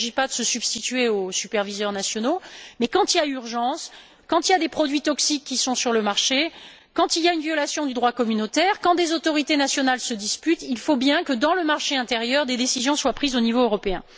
Il ne s'agit pas de se substituer aux superviseurs nationaux, mais quand il y a urgence, quand des produits toxiques sont sur le marché, quand il y a une violation du droit communautaire, quand des autorités nationales se disputent, il faut bien que, dans le marché intérieur, des décisions soient prises au niveau européen.